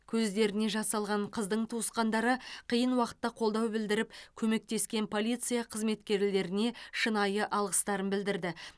көздеріне жас алған қыздың туысқандары қиын уақытта қолдау білдіріп көмектескен полиция қызметкерлеріне шынайы алғыстарын білдірді